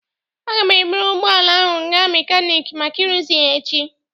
Aga m eburu ụgbọ ala ahụ gaa mekaniki maka ịrụzi ya echi.